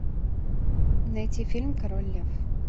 найти фильм король лев